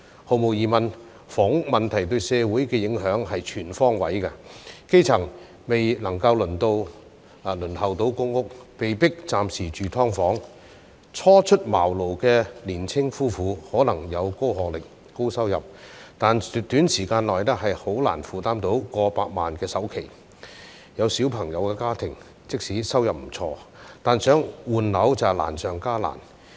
毫無疑問，房屋問題對社會的影響是全方位的，基層未能夠輪候到公屋，被迫暫時住"劏房"；初出茅廬的年青夫婦，可能有高學歷、高收入，但短時間內難以負擔到過百萬元的首期；有小朋友的家庭，即使收入不錯，但想換樓卻難上加難。